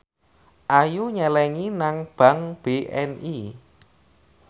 Ayu nyelengi nang bank BNI